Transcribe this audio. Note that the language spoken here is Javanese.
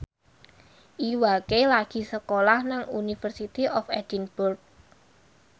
Iwa K lagi sekolah nang University of Edinburgh